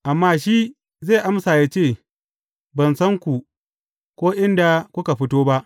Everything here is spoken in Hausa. Amma shi zai amma ya ce, Ban san ku, ko inda kuka fito ba.